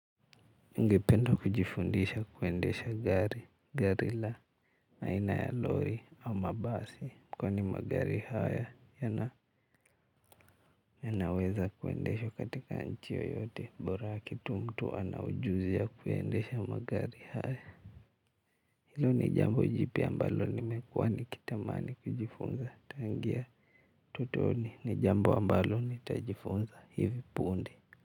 Ningependa kujifundisha kuendesha gari, gari la, aina ya lori au mabasi kwani magari haya yana yanaweza kuendeshwa katika nchi yoyote bora kitu mtu anaujuzi kuendesha magari haya hilo ni jambo jipya ambalo nimekuwa nikitamani kujifunza. Tangia utotoni ni jambo ambalo nitajifunza hivi punde.